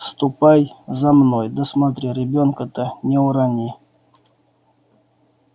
ступай за мной да смотри ребёнка-то не урони